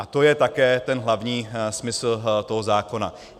A to je také ten hlavní smysl toho zákona.